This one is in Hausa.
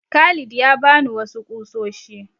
Khalid ya ba ni wasu ƙusoshi.